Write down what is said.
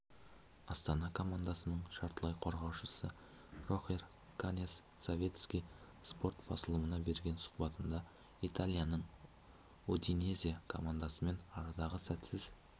астана командасының жартылай қорғаушысы рохер каньяс советский спорт басылымына берген сұхбатында италияның удинезе командасымен арадағы сәтсіз